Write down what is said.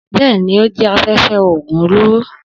Bẹ́ẹ̀ni, ó jẹ́ afẹ́fẹ́ oògùn olóró.